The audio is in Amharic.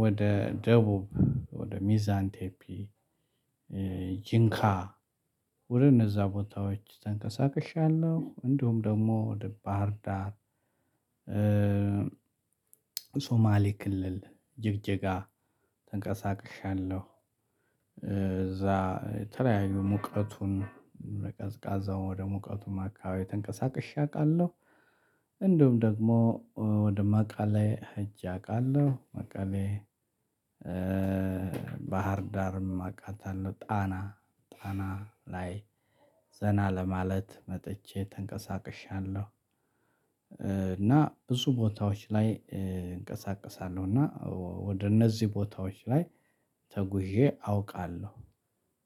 ወደ ደቡብ ወደ ሚዛንቴፒ ጂንካ ወደ እነዛ ቦታዎች ተንቀሳቅሻለሁ። እንደውም ደግሞ ወደ ባህር ዳር ሶማሌ ክልል ጅጅጋ ተንቀሳቅሻለሁ። እዛ የተለያዩ ሙቀቱን በቀዝቃዛው ወደ ሙቀቱም አካባቢ ተንቀሳቅሼ አውቃለሁ። እንደውም ደግሞ ወደ መቀሌ እጄ አውቃለሁ መቀሌ ባህር ዳርም አውቃታለሁ። ጣና ጣና ላይ ዘና ለማለት መጥቼ ተንቀሳቅሻለሁ። እና ብዙ ቦታዎች ላይ እንቀሳቀሳለሁ እና ወደ እነዚህ ቦታዎች ላይ ተጉዤ አውቃለሁ።